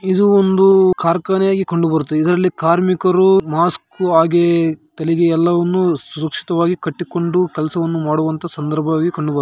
ಇದು ಒಂದು ಕಾರ್ಖಾನೆಯಾಗಿ ಕಂಡುಬರುತ್ತದೆ. ಇದ್ರಲ್ಲಿ ಕಾರ್ಮಿಕರು ಮಾಸ್ಕ್‌ ಹಾಗೆ ತಲೆಗೆ ಎಲ್ಲವನ್ನು ಸುರಕ್ಷಿತವಾಗಿ ಕಟ್ಟಿಕೊಂಡು ಕೆಲಸವನ್ನು ಮಾಡುವಂತ ಸಂದರ್ಭವಾಗಿ ಕಂಡುಬರು--